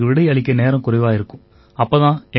ஆனா இவற்றுக்கு விடை அளிக்க நேரம் குறைவாவே இருக்கும்